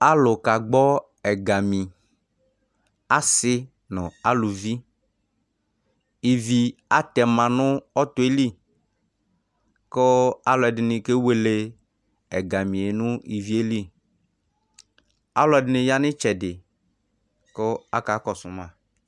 alũ kagbɔ ẽgami assï nɔ alũvi ïvi atɛma nũ ɔtõẽli kũ alũẽdinï kewele ɛgamié nũ ɔtɔeli ivieli alũedini ya nũ ïtsɛdi ƙũ aka ƙɔssuma ɛgamie nũ ịvieli